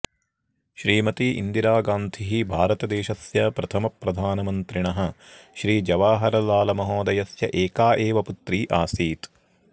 श्रीमती इन्दिरागान्धिः भारतदेशस्य प्रथमप्रधानमन्त्रिणः श्रीजवाहरलालमहोदयस्य एका एव पुत्री आसीत्